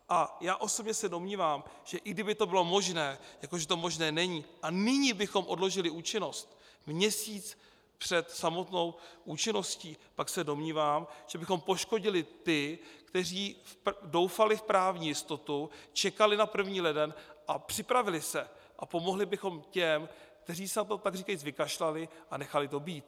A já osobně se domnívám, že i kdyby to bylo možné, jako že to možné není, a nyní bychom odložili účinnost, měsíc před samotnou účinností, pak se domnívám, že bychom poškodili ty, kteří doufali v právní jistotu, čekali na první leden a připravili se, a pomohli bychom těm, kteří se na to takříkajíc vykašlali a nechali to být.